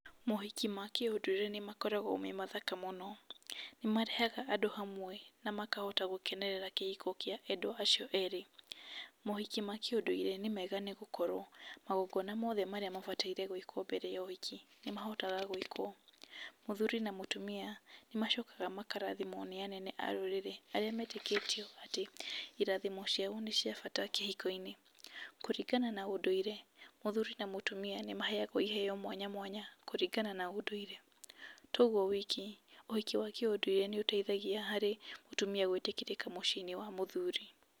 Mohiki makĩũndũire nĩmakoragwo memathaka mũno, nĩmarehaga andũ hamwe na makahota gũkenerera kĩhiko kĩa andũ acio erĩ. Mohiki makĩũndũire nĩmega tondũ magongona mothe mekagwo mbere ya ũhiki, nĩmahotaga gũĩkwo. Mũthuri na mũtumia, nĩmacokaga makarathimwo nĩ anene a rũrĩrĩ arĩa metĩkĩtio atĩ, irathimo ciao nĩ ciabata kĩhiko-inĩ. Kũringana na ũndũire, mũthuri na mũtumia nĩmaheyagwo iheyo mwanya mwanya, kũringana na ũndũire. Toguo wiki, ũhiki wa kĩũndũire nĩ ũteithagia harĩ mũtumia gũĩtĩkĩrĩka mũciĩ-inĩ wa mũthuri.